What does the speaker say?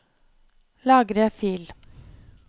Lagre fil